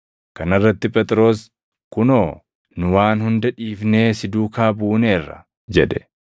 Kana irratti Phexros, “Kunoo, nu waan hunda dhiifnee si duukaa buuneerra!” jedhe.